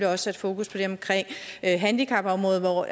også sat fokus på det omkring handicapområdet hvor